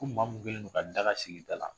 Ko maa mun kɛlen don ka daka sigi i dala